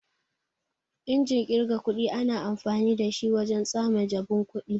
Injin kirgar kuɗi ana amfani dashi wajen tsame jabun kuɗi.